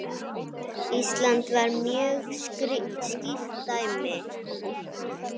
Ísland var mjög skýrt dæmi.